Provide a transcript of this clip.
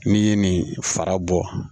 N'i ye nin fara bɔ